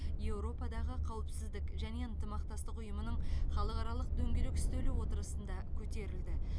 еуропадағы қауіпсіздік және ынтымақтастық ұйымының халықаралық дөңгелек үстелі отырысында көтерілді